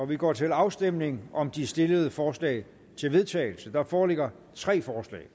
vi går til afstemning om de stillede forslag til vedtagelse der foreligger tre forslag